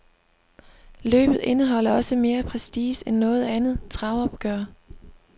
Løbet indeholder også mere prestige end noget andet travopgør.